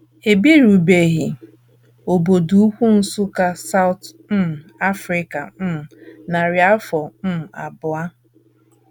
E birubeghi obodo ukwu Nsukka nke South um Africa um narị afọ um abụọ.